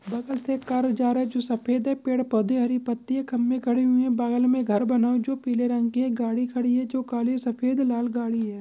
बगल से जो कार जा रहा है जो सफ़ेद् है पेद पौधे हरि पत्ति है खंबे खडी हुयी है बगल मे घर बना हुआ है जो पिले रंग की है गाड़ी खड़ी है जो काली सफ़ेद लाल गाड़ी है।